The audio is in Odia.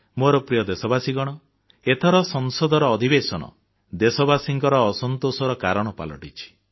ମୋର ପ୍ରିୟ ଦେଶବାସୀଗଣ ଏଥର ସଂସଦର ଅଧିବେଶନ ଦେଶବାସୀଙ୍କ ଅସନ୍ତୋଷର କାରଣ ପାଲଟିଛି